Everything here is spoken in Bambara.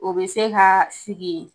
O be se ka sigi